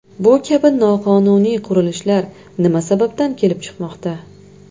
Bu kabi noqonuniy qurilishlar nima sababdan kelib chiqmoqda?